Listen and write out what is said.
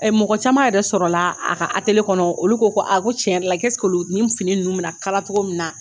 Ɛ mɔgɔ caman yɛrɛ sɔrɔla la a ka kɔnɔ olu ko ko a ko tiɲɛ yɛrɛ la ko nin fini ninnu bɛna kala cogo min na